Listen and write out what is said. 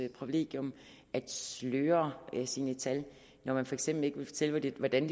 privilegium at sløre sine tal når man for eksempel ikke vil fortælle hvordan